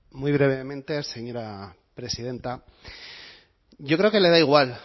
muy brevemente señora presidenta yo creo que le da igual